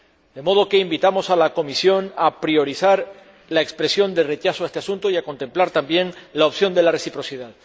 De modo que invitamos a la Comisión a priorizar la expresión de rechazo a este asunto y a contemplar también la opción de la reciprocidad.